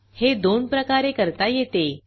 हे दोन प्रकारे करता येते